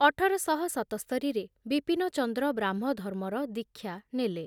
ଅଠର ଶହ ସତସ୍ତରିରେ ବିପିନଚନ୍ଦ୍ର ବ୍ରାହ୍ମଧର୍ମର ଦୀକ୍ଷା ନେଲେ ।